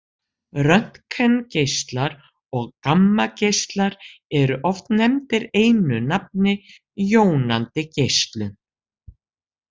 Röntgengeislar og gammageislar eru oft nefndir einu nafni jónandi geislun.